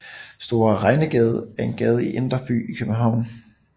Store Regnegade er en gade i Indre By i København